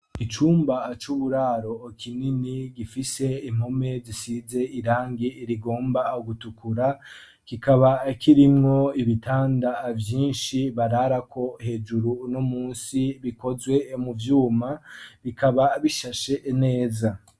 Icumba c'uburaro kinini gifise impome zisize irangi rigomba gutukura kikaba kirimwo ibitanda vyinshi bararako hejuru no munsi bikozwe mu vyuma bikaba bishashe neza.